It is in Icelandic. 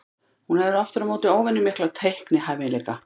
Hún hefur aftur á móti óvenju mikla teiknihæfileika.